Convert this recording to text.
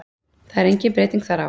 Það er engin breyting þar á.